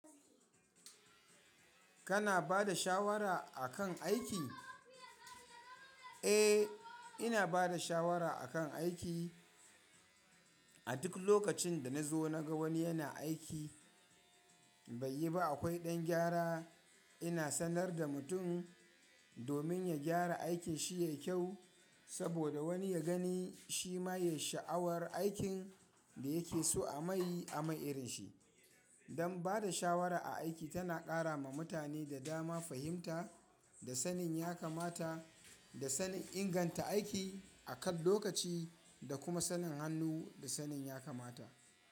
Kana bada shawara akan aiki? Eh, ina bada shawara akan aiki. A duk lokacin da na zo na ga wani yana aiki bai yi ba akwai ɗan gyara. Ina sanar da mutum domin ya gyara aikin shi yayi kyau saboda wani ya gani shi ma yay sha'awar aikin da yake so a mai a mai irin shi. Dan bada shawara a aiki tana ƙara ma mutane da dama fahimta da sanin ya kamata, da sanin inganta aiki akan lokaci, da kuma sanin hannu da sanin ya kamata.